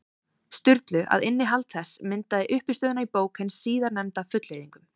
Sturlu, að innihald þess myndaði uppistöðuna í bók hins síðarnefnda, fullyrðingum.